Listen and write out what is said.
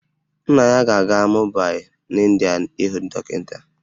Nna ya ga-aga Mumbai n'India ịhụ dọkịta